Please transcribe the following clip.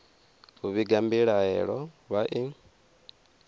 u vhiga mbilahelo vha i